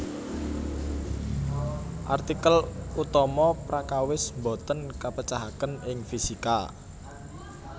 Artikel utama Prakawis boten kapecahaken ing fisika